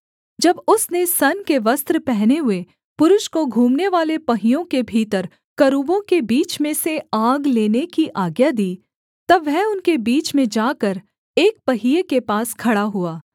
जब उसने सन के वस्त्र पहने हुए पुरुष को घूमनेवाले पहियों के भीतर करूबों के बीच में से आग लेने की आज्ञा दी तब वह उनके बीच में जाकर एक पहिये के पास खड़ा हुआ